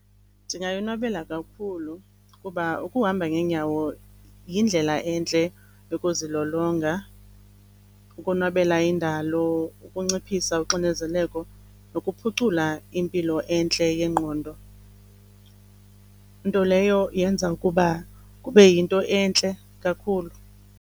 Ndingayonwabela kakhulu kuba ukuhamba ngeenyawo yindlela entle yokuzilolonga, ukonwabela indalo, ukunciphisa uxinezeleko nokuphucula impilo entle yengqondo, nto leyo yenza ukuba kube yinto entle kakhulu.